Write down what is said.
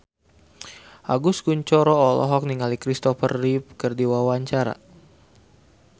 Agus Kuncoro olohok ningali Christopher Reeve keur diwawancara